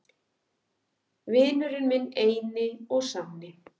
Vinurinn minn eini og sanni!